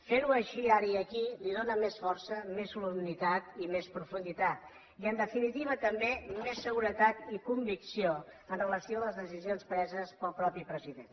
fer ho així ara i aquí hi dóna més força més solemnitat i més profunditat i en definitiva també més seguretat i convicció en relació amb les decisions preses pel mateix president